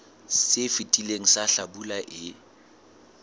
se fetileng sa hlabula e